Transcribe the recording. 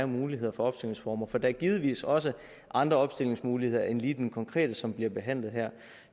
muligheder for opstillingsformer for der er givetvis også andre opstillingsmuligheder end lige den konkrete som bliver behandlet her